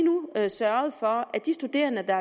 sørget for at de studerende der